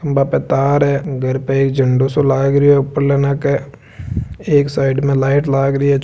बा पर तार है घर पे एक झंडो सा लागरियो है ऊपर नाक एक साइड में लाइट लाग रिया है।